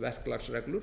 verklagsreglur